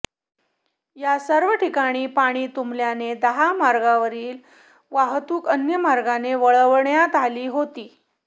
या सर्व ठिकाणी पाणी तुंबल्याने दहा मार्गावरील वाहतूक अन्य मार्गाने वळवण्यात आली होती